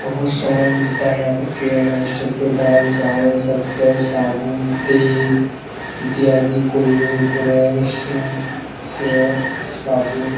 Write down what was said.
बहुत सामान मिलता है यहाँ पर किराना स्टोर पे दाल चावंल शक़्कर साबुन तेल इत्यादि कोलगेट ब्रश सर्फ़ सर्फ साबुन --